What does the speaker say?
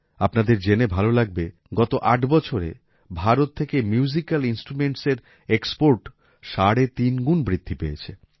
আপনাদের জেনে ভালো লাগবে যে গত ৮ বছরে ভারত থেকে মিউজিকাল ইন্সট্রুমেন্টসের এক্সপোর্ট সাড়ে তিনগুণ বৃদ্ধি পেয়েছে